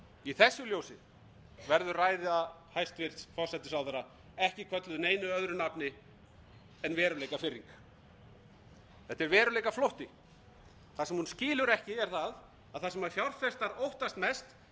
í þessu ljósi verður ræða hæstvirtur forsætisráðherra ekki kölluð neinu öðru nafni en veruleikafirring þetta er veruleikaflótti það sem hún skilur ekki er það að það sem fjárfestar óttast mest er sjálf ríkisstjórnin sem